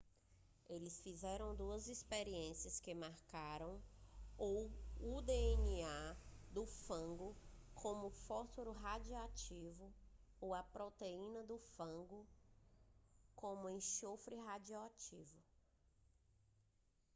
eles fizeram duas experiências que marcaram ou o dna do fago com fósforo radioativo ou a proteína do fago com enxofre radioativo